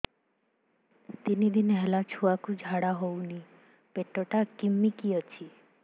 ତିନି ଦିନ ହେଲା ଛୁଆକୁ ଝାଡ଼ା ହଉନି ପେଟ ଟା କିମି କି ଅଛି